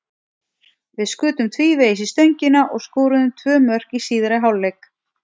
Við skutum tvívegis í stöngina og skoruðum tvö mörk í síðari hálfleik.